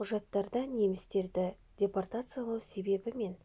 құжаттарда немістер депортациялау себебі неміс